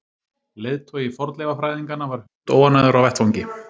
Leiðtogi fornleifafræðinganna var hundóánægður á vettvangi.